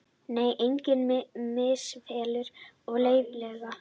Nei, engar misfellur eru leyfilegar.